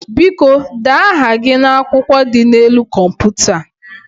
Biko, dee aha gị n'akwụkwọ dị n'elu kọmputa a.